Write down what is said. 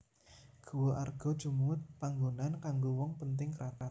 Guwa Arga Jumud panggonan kanggo wong penting kraton